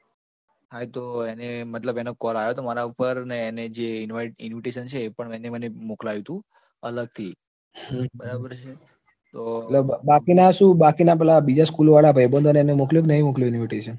બાકીના શું બાકીના પેલા બીજા school વાળા ભાઈબંધો ને મોકલ્યું એને કે નહીં મોકલ્યું invitation